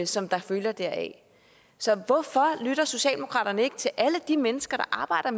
som der følger deraf så hvorfor lytter socialdemokratiet ikke til alle de mennesker der arbejder